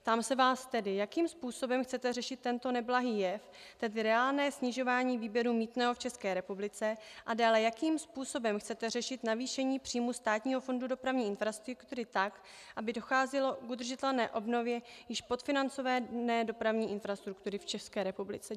Ptám se vás tedy, jakým způsobem chcete řešit tento neblahý jev, tedy reálné snižování výběru mýtného v České republice, a dále, jakým způsobem chcete řešit navýšení příjmů Státního fondu dopravní infrastruktury tak, aby docházelo k udržitelné obnově již podfinancované dopravní infrastruktury v České republice.